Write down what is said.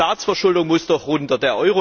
Die Staatsverschuldung muss doch runter!